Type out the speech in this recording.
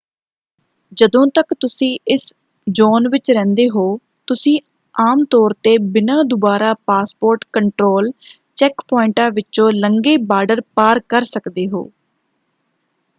ਜਦੋਂ ਤੱਕ ਤੁਸੀਂ ਇਸ ਜ਼ੋਨ ਵਿੱਚ ਰਹਿੰਦੇ ਹੋ ਤੁਸੀਂ ਆਮ ਤੌਰ 'ਤੇ ਬਿਨਾਂ ਦੁਬਾਰਾ ਪਾਸਪੋਰਟ ਕੰਟਰੋਲ ਚੈੱਕਪੁਆਇੰਟਾਂ ਵਿਚੋਂ ਲੰਘੇ ਬਾਰਡਰ ਪਾਰ ਕਰ ਸਕਦੇ ਹੋ।